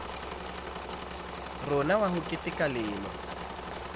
rona wa ho keteka lemo